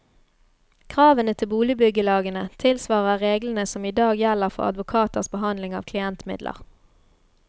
Kravene til boligbyggelagene tilsvarer reglene som i dag gjelder for advokaters behandling av klientmidler.